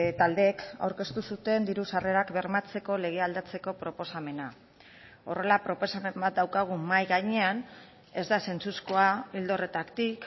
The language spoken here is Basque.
taldeek aurkeztu zuten diru sarrerak bermatzeko lege aldatzeko proposamena horrela proposamen bat daukagu mahai gainean ez da sentsuzkoa ildo horretatik